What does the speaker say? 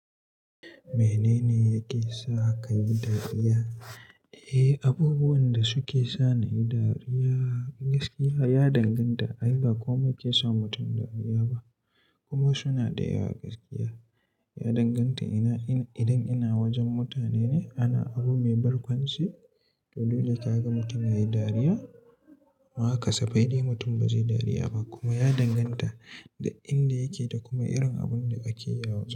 Menene yake sa ka yi dariya? Eh, abubuwan da suke sa ni dariya gaskiya ya danganta ai ba komai ke sa mutum dariya ba kuma suna da yawa gaskiya. Ya danganta ina, ina, idan ina wajen mutane ne ana abu mai barkwanci, to dole ka ga mutum yayi dariya. Mu haka safai dai mutum ba zai yi dariya ba kuma ya danganta da inda yake da kuma irin abun da kake a wajen.